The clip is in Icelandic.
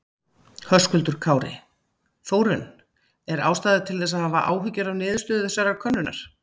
Höskuldur Kári: Þórunn er ástæða til þess að hafa áhyggjur af niðurstöðu þessarar könnunar?